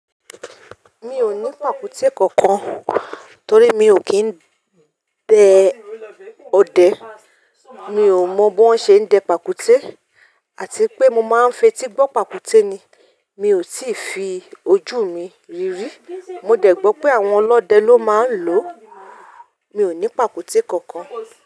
Mi ò ní pàkúté kankan torí mi ò kí ń dẹ ọdẹ. Mi ò mọ bí wón ṣe ń dẹ pàkúté àti pé mo máa ń fetí gbọ́ pàkúté ni, mi ò sì fi ojú mi rí rí. Mo dẹ̀ gbọ́ pé àwọn ọlọ́dẹ ló máa ń lò ó. Mi ò ní pàkúté kankan.